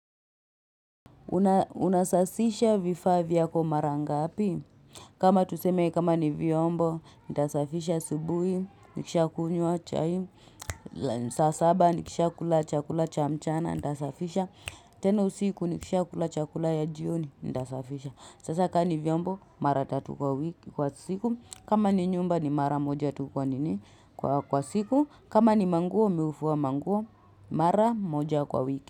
Unasasisha vifaa vyako mara ngaapi? Kama tuseme kama ni vyombo, nitasafisha asubuhi, nikisha kunywa chai. Saa saba nikisha kula chakula cha mchana, nitasafisha. Tena usiku nikisha kula chakula ya jioni, nitasafisha. Sasa kaa ni vyombo, mara tatu kwa wiki kwa siku. Kama ni nyumba ni mara moja tu kwa nini kwa siku. Kama ni manguo, mii hufua manguo, mara moja kwa wiki.